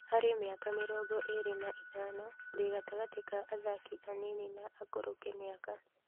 Harĩ miaka mĩrongo ĩrĩ na ithano ndĩ gatagatĩ ka athaki anini na akũrũ kimĩaka